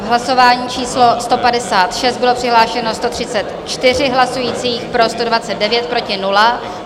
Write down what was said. V hlasování číslo 156 bylo přihlášeno 134 hlasujících, pro 129, proti nula.